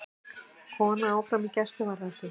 Kona áfram í gæsluvarðhaldi